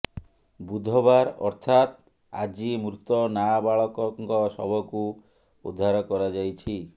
ବୁଧବାର ଅର୍ଥାତ ଆଜି ମୃତ ନାବାଳକଙ୍କ ଶବକୁ ଉଦ୍ଧାର କରାଯାଇଛି